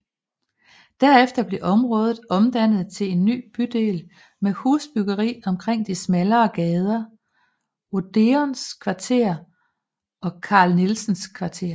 Derefter blev området omdannet til en ny bydel med husbyggeri omkring de smallere gader Odeons Kvarter og Carl Nielsens Kvarter